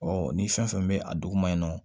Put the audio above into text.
ni fɛn fɛn bɛ a duguma in na